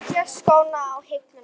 Setja skóna á hilluna?